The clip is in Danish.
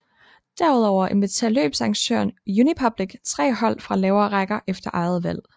Derudover inviterer løbsarrangøren Unipublic tre hold fra lavere rækker efter eget valg